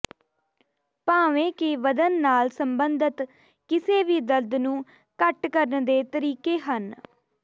ਭਾਵੇਂ ਕਿ ਵਧਣ ਨਾਲ ਸੰਬੰਧਤ ਕਿਸੇ ਵੀ ਦਰਦ ਨੂੰ ਘੱਟ ਕਰਨ ਦੇ ਤਰੀਕੇ ਹਨ